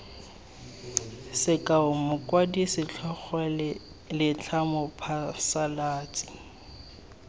sekao mokwadi setlhogo letlha mophasalatsi